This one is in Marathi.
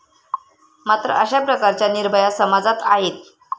मात्र अशा प्रकारच्या निर्भया समाजात आहेत.